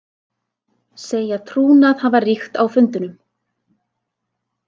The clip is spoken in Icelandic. Segja trúnað hafa ríkt á fundunum